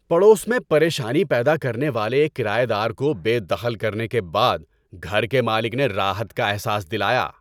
پڑوس میں پریشانی پیدا کرنے والے ایک کرایہ دار کو بے دخل کرنے کے بعد گھر کے مالک نے راحت کا احساس دلایا۔